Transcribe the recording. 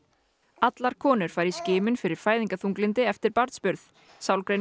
allar konur fara í skimun fyrir fæðingarþunglyndi eftir barnsburð